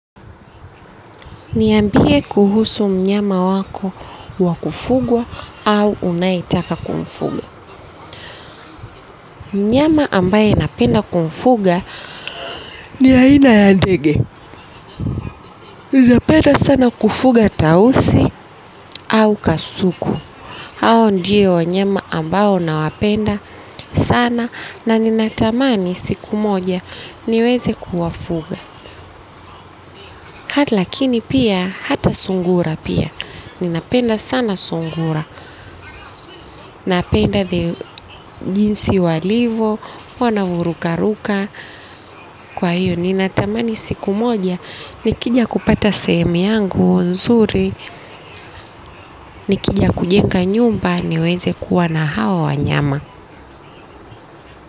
Niambie kuhusu mnyama wako wa kufugwa au unayetaka kumfuga. Mnyama ambaye napenda kumfuga ni aina ya ndege. Ninapenda sana kufuga tausi au kasuku. Hao ndio wanyama ambao nawapenda sana na ninatamani siku moja, niweze kuwafuga. Lakini pia, hata sungura pia. Ninapenda sana sungura, napenda the jinsi walivo, wanavorukaruka, kwa hiyo ninatamani siku moja, nikija kupata sehemu yangu nzuri, nikija kujenga nyumba niweze kuwa na hawa wanyama.